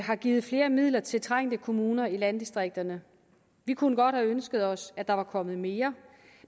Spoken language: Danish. har givet flere midler til trængte kommuner i landdistrikterne vi kunne godt have ønsket os at der var kommet mere